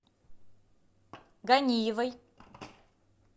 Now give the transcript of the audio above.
ганиевой